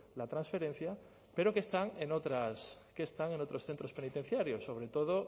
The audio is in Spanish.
la transferencia pero que están en otros centros penitenciarios sobre todo